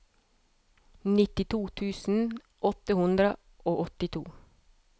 nittito tusen åtte hundre og åttito